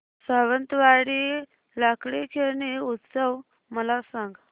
सावंतवाडी लाकडी खेळणी उत्सव मला सांग